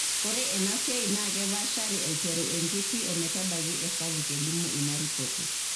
Ore ena siai naa kepaashari aiteru enkiti ometabaiki esapuk elimu ina ripoti.